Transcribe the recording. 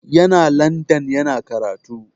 Yana landan yana karatu.